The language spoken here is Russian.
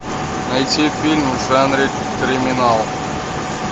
найти фильм в жанре криминал